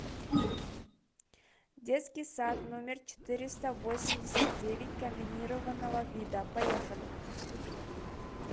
детский сад номер четыреста восемьдесят девять комбинированного вида поехали